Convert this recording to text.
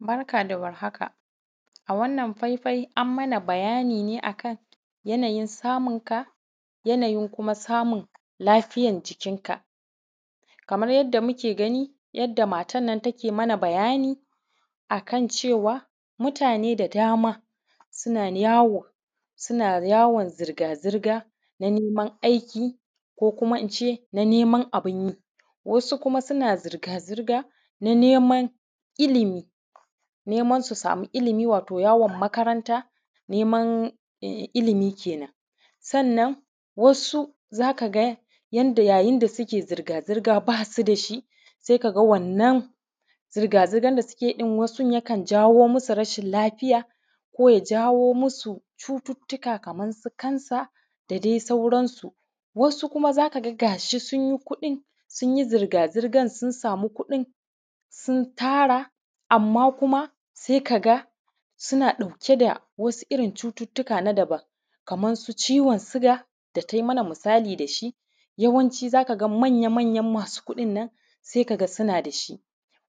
Barda warhaka, a wannan faifai an mana bayani ne akan yanayin samunka, yanayin kuma samun lafiyan jikinka. Kamar yadda muke gani, yadda matan nan take mana bayani akan cewa mutane da dama suna yawo, suna yawon zirga-zirga na neman aiki ko kuma ince na neman abin yi. Wasu kuma suna zirga-zirga na neman ilimi, neman su sami ilimi wato yawon makaranta, neman ilimi kenen. Sannan wasu zaka ga yayin da suke zirga-zirga basu dashi sai kaga wannan zirga-zirga da suke yi wasun yakan jawo musu rashin lafiya, koya jawo musu cututuka kaman su kansa, da dai sauransu. Wasu kuma zaka ga gashi sun yi kuɗin, sunyi zirga-zirga sun samu kuɗin sun tara amma kuma sai kaga suna ɗauke da wasu irin cututuka na dabam, kaman su ciwon suga da tai mana misali dashi, yawanci zakaga manya-manyan masu kuɗin nan sai kaga suna dashi.